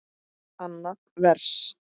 Annað vers.